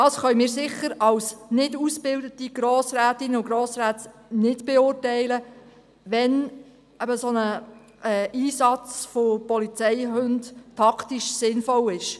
Als nicht entsprechend ausgebildete Grossrätinnen und Grossräte können wir sicher nicht beurteilen, wann ein solcher Einsatz mit Polizeihunden taktisch sinnvoll ist.